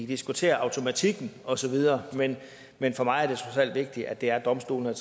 diskutere automatikken osv men men for mig er det trods alt vigtigt at det er domstolene